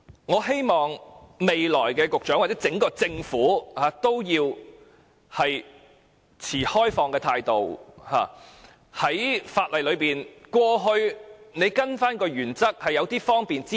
我希望下任局長或整個政府要抱持開放的態度，法例裏可以開啟些"方便之門"。